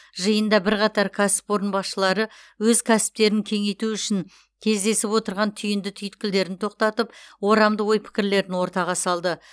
жиында бірқатар кәсіпорын басшылары өз кәсіптерін кеңейту үшін кездесіп отырған түйінді түйткілдерін тоқтатып орамды ой пікірлерін ортаға салды